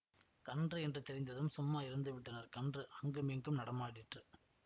கன்று என்று தெரிந்ததும் சும்மா இருந்து விட்டனர் கன்று அங்குமிங்கும் நடமாடிற்று